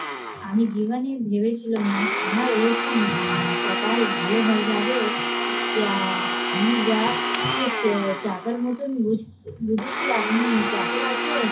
আমি জীবনে ভেবেছিলাম না আমার এরকম কপাল ভালো হয়ে যাবে আহ আমি যাকে চাকর মতন বুঝেছি আপনি চাকর আছেন